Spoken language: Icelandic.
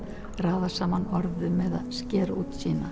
raða saman orðum eða skera út sína